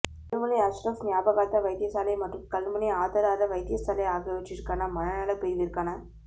கல்முனை அஷ்ரஃப் ஞாபகார்த்த வைத்தியசாலை மற்றும் கல்முனை ஆதரார வைத்தியசாலை ஆகியவற்றிற்கான மனநல பிரிவிற்கான